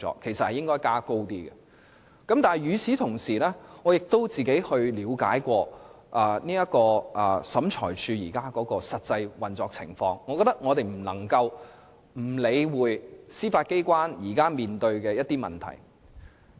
不過，與此同時，我亦嘗試了解審裁處的實際運作情況，我認為我們不得不理會司法機關現時面對的一些問題。